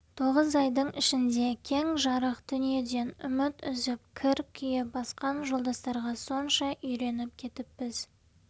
тоғыз айдың ішінде кең жарық дүниеден үміт үзіп кір күйе басқан жолдастарға сонша үйреніп кетіппіз